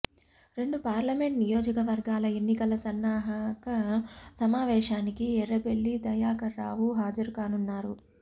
రెండు పార్లమెంట్ నియోజకవర్గాల ఎన్నికల సన్నాహక సమావేశానికి ఎర్రబెల్లి దయాకర్రావు హాజరుకానున్నారు